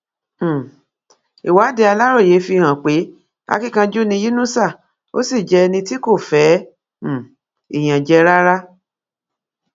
um ìwádìí aláròye fi hàn pé akínkanjú ni yínúṣà ó sì jẹ ẹni tí kò fẹ um ìyànjẹ rárá